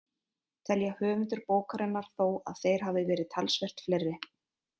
Telja höfundar bókarinnar þó að þeir hafi verið talsvert fleiri.